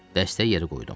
Dəstəyi yerə qoydum.